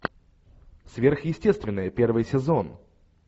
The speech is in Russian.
сверхъестественное первый сезон